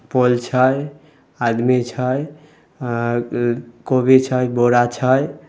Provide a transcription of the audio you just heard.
Pole छै आदमी छै कोबी छै बोड़ा छै।